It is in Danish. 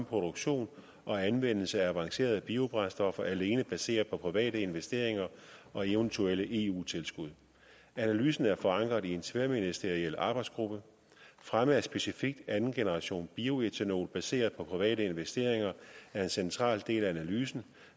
produktion og anvendelse af avancerede biobrændstoffer alene baseret på private investeringer og eventuelle eu tilskud analysen er forankret i en tværministeriel arbejdsgruppe fremme af specifikt andengenerationsbioætanol baseret på private investeringer er en central del af analysen